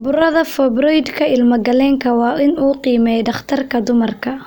Burada Fibroidka ilmagaleenka waa in uu qiimeeyaa dhakhtarka dumarka.